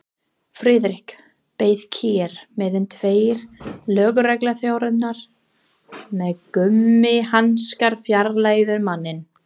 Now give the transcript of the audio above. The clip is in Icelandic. Friðrik beið kyrr meðan tveir lögregluþjónar með gúmmíhanska fjarlægðu manninn.